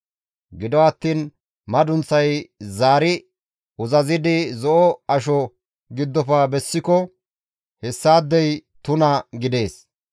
Gido attiin madunththay zaari uzazidi zo7o asho giddofe bessiko hessaadey tuna gidees.